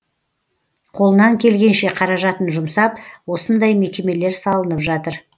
қолынан келгенше қаражатын жұмсап осындай мекемелер салынып жатыр